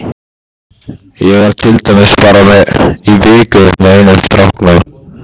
Ég var til dæmis aðeins í viku með einum stráknum.